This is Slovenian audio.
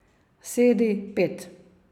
Sedi, pet.